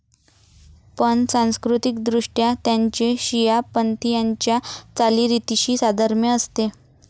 पण, सांस्कृतीकदृष्ट्या त्यांचे शिया पंथीयांच्या चालीरीतीशी साधर्म्य असते.